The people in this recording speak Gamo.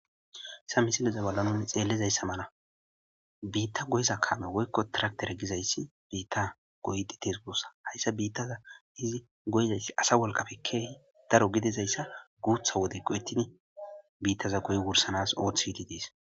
Ha misiliza balla nuni xeellizayssa mala biitta goyza kaame woykko tiraktere gizayssi biitta goyti tirgossa hayssa biittaza izi goyzayssi asa wolqafe keehi daro gidizayssa guutha wode ko ettidi biittaza goy wursanas ooth idi dees.